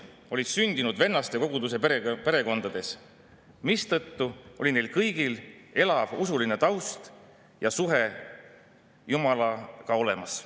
] juuni õiguskomisjoni istungilt, miks on tähtis kuulata ka evangeelse vennastekoguduse argumente ja neist aru saada: "Eesti Evangeelne Vennastekogudus on selle vennastekoguduse järglane, mis tekkis Eestis 1730. aastatel alanud usulise tärkamisega.